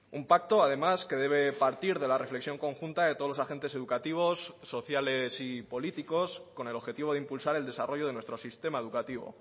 un pacto además que debe partir de la reflexión conjunta de todos los agentes educativos sociales y políticos con el objetivo de impulsar el desarrollo de nuestro sistema educativo